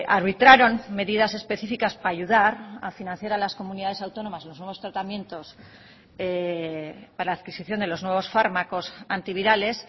arbitraron medidas específicas para ayudar a financiar a las comunidades autónomas los nuevos tratamientos para la adquisición de los nuevos fármacos antivirales